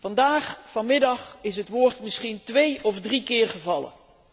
Vandaag, vanmiddag, is het woord misschien twee of drie keer gevallen.